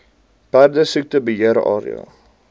perdesiekte beheer area